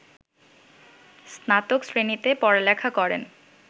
স্নাতক শ্রেণিতে পড়ালেখা করেন